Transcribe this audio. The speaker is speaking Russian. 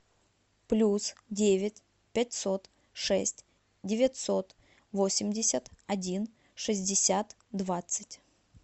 плюс девять пятьсот шесть девятьсот восемьдесят один шестьдесят двадцать